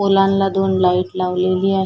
पोलां ला दोन लाईट लावलेली आहे.